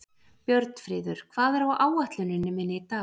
Björnfríður, hvað er á áætluninni minni í dag?